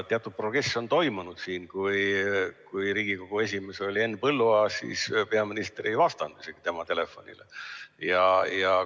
Teatud progress on siiski toimunud, sest kui Riigikogu esimees oli Henn Põlluaas, siis peaminister isegi ei vastanud tema telefonile.